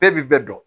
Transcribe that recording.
Bɛɛ bi bɛɛ dɔn